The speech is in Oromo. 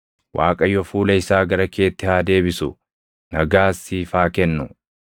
Waaqayyo fuula isaa gara keetti haa deebisu; nagaas siif haa kennu.” ’